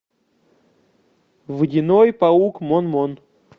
водяной паук мон мон